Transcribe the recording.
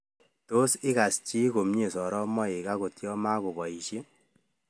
Tos igas chii komyee soromaik angotv yaa magobaiishe